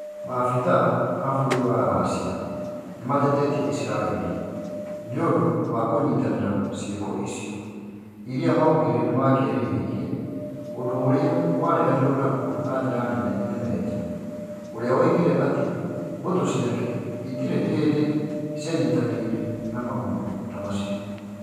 Mafithaa a bũrũri wa Russia nĩ matetetie Isiraeli nĩũndũ kũnyitanĩra ciiko icio iria augire nĩmangĩerĩhĩirie ũndũ ũrĩa wareganirwo naguo na njĩra nene nĩ Meja, ũrĩa woigire atĩ mbũtũ ciake itiĩ hĩndĩ cianyitanĩire na maũndũ ta macio.